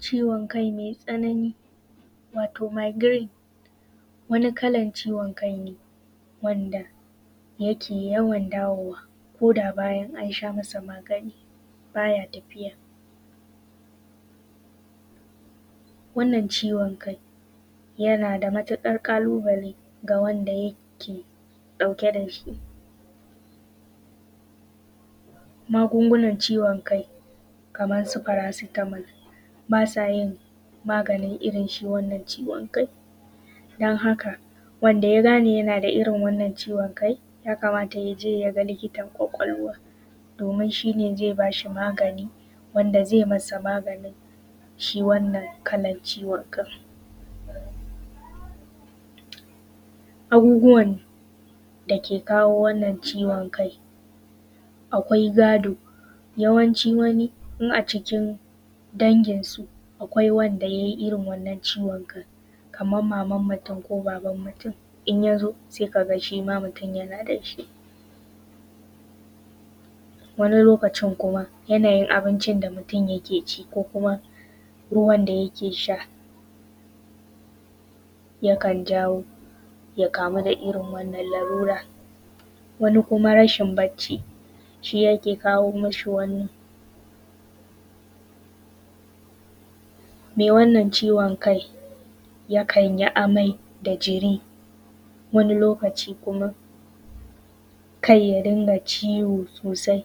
Ciwon kai mai tsanani wato megrine. Wani kalan ciwon kai ne, wanda yawon dawowa koda an sha masa magani ba ya tafiya. Wannan ciwon kai, yana da matuƙar ƙalubale ga wanda yake ɗauke da shi. Magunguna ciwon kai kamar su faracitamal, ba sa yin maganin irin wannan ciwon kai. Dan haka wanda ya gane yana da irin wannan ciwon kai, yakamata y ace ya ga likitan ƙwaƙwalwa. Domin shi ne zai mai maganin shi wannan kalan ciwo kai. Abubuwan da ke kawo wannan ciwon kai, akwai gado, yawanci wani, in a cikin danginsu akwai wanda yai irin wannan ciwon. Kaman maman mutum ko baban mutum in ya zo sai ka gas hi ma mutum yana da shi. Wani lokacin kuma yanayin abincin da mutum yake ci ko kuma ruwan da yake sha, yakan jawo ya kamu da irin wannan lalura. Wani kuma rashin bacci shi yake kawo mashi wani, mai irin wannan ciwon kai yakan yi amai da jiri wani lokaci kuma, kai ya rinƙa ciwo sosai,